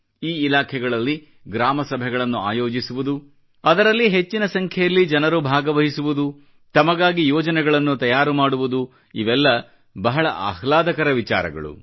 ಈ ಇಲಾಖೆಗಳಲ್ಲಿ ಗ್ರಾಮ ಸಭೆಗಳನ್ನು ಆಯೋಜಿಸುವುದು ಅದರಲ್ಲಿ ಹೆಚ್ಚಿನ ಸಂಖ್ಯೆಯಲ್ಲಿ ಜನರು ಭಾಗವಹಿಸುವುದು ತಮಗಾಗಿ ಯೋಜನೆಗಳನ್ನು ತಯಾರು ಮಾಡುವುದು ಇವೆಲ್ಲ ಬಹಳ ಆಹ್ಲಾದಕತೆ ನೀಡುವ ವಿಚಾರಗಳು